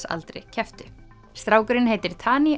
aldri kepptu strákurinn heitir